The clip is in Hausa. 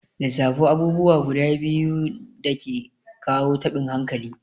Lissafo abubuwa guda biyu dake kawo taɓin hankali?